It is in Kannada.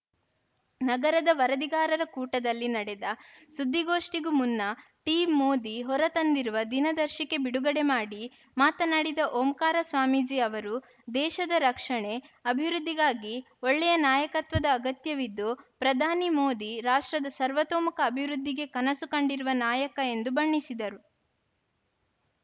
ನಗರದ ವರದಿಗಾರರ ಕೂಟದಲ್ಲಿ ನಡೆದ ಸುದ್ದಿಗೋಷ್ಠಿಗೂ ಮುನ್ನ ಟೀಂ ಮೋದಿ ಹೊರ ತಂದಿರುವ ದಿನದರ್ಶಿಕೆ ಬಿಡುಗಡೆ ಮಾಡಿ ಮಾತನಾಡಿದ ಓಂಕಾರ ಸ್ವಾಮೀಜಿ ಅವರು ದೇಶದ ರಕ್ಷಣೆ ಅಭಿವೃದ್ಧಿಗಾಗಿ ಒಳ್ಳೆಯ ನಾಯಕತ್ವದ ಅಗತ್ಯವಿದ್ದು ಪ್ರಧಾನಿ ಮೋದಿ ರಾಷ್ಟ್ರದ ಸರ್ವತೋಮುಖ ಅಭಿವೃದ್ಧಿಗೆ ಕನಸು ಕಂಡಿರುವ ನಾಯಕ ಎಂದು ಬಣ್ಣಿಸಿದರು